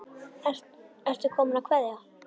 Ertu kominn að kveðja?